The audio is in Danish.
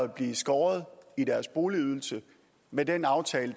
beskåret deres boligydelse ved den aftale